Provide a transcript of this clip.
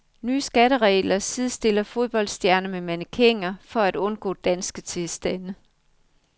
Nye skatteregler sidestiller fodboldstjerner med mannequiner for at undgå danske tilstande.